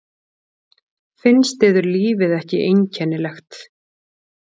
Finnst yður lífið ekki einkennilegt?